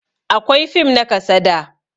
Akwai fim na kasada